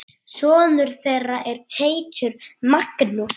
Sonur þeirra er Teitur Magnús.